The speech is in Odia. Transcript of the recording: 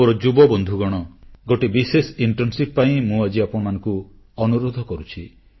ମୋର ଯୁବବନ୍ଧୁଗଣ ଗୋଟିଏ ବିଶେଷ ଇଣ୍ଟର୍ଣ୍ଣସିପ ପାଇଁ ମୁଁ ଆଜି ଆପଣମାନଙ୍କୁ ଅନୁରୋଧ କରୁଛି